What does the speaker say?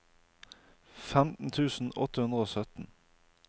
femten tusen åtte hundre og sytten